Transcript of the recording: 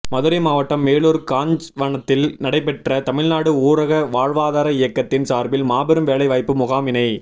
மதுரை மாவட்டம் மேலூர் காஞ்வனத்தில் நடைபெற்ற தமிழ் நாடு ஊரக வாழ்வாதார இயக்கத்தின் சார்பில் மாபெரும் வேலை வாய்ப்பு முகாமினை